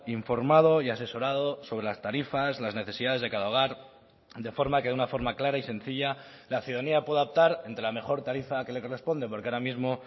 informado y asesorado sobre las tarifas las necesidades de cada hogar de forma que de una forma clara y sencilla la ciudadanía pueda optar entre la mejor tarifa que le corresponde porque ahora mismo